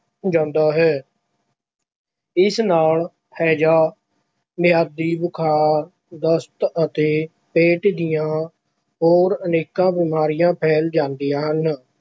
ਜਾਂਦਾ ਹੈ ਇਸ ਨਾਲ ਹੈਜ਼ਾ, ਮਿਆਦੀ ਬੁਖ਼ਾਰ, ਦਸਤ ਅਤੇ ਪੇਟ ਦੀਆਂ ਹੋਰ ਅਨੇਕਾਂ ਬਿਮਾਰੀਆਂ ਫੈਲ ਜਾਂਦੀਆਂ ਹਨ।